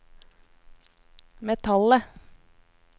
metallet